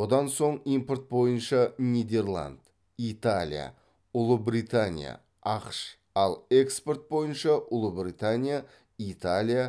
одан соң импорт бойынша нидерланд италия ұлыбритания ақш ал экспорт бойынша ұлыбритания италия